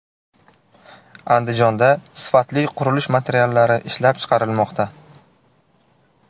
Andijonda sifatli qurilish materiallari ishlab chiqarilmoqda.